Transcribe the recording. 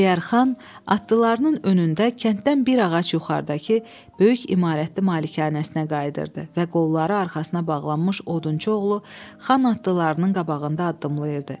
Əliyərxan atlılarının önündə kənddən bir ağac yuxarıdakı böyük imarətli malikanəsinə qayıdırdı və qolları arxasına bağlanmış odunçu oğlu xan atlılarının qabağında addımlayırdı.